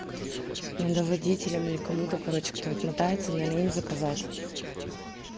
надо водителем или кому то короче кто отмотается надо им заказать